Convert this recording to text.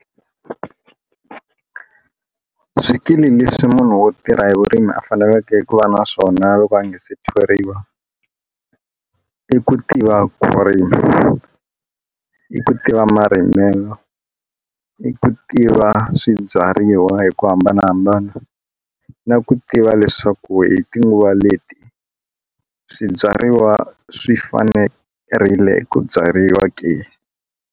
Swikili leswi munhu wo tirha hi vurimi a faneleke ku va na swona loko a nga se thoriwa i ku tiva ku rima i ku tiva marimelo i ku tiva swibyariwa hi ku hambanahambana na ku tiva leswaku hi tinguva leti swibyariwa swi fanerile ku byariwa ke.